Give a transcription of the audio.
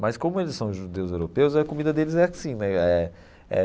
Mas como eles são judeus europeus, a comida deles é assim, né? Eh eh.